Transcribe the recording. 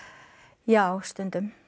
já stundum